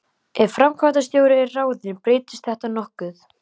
Ef framkvæmdastjóri er ráðinn breytist þetta nokkuð.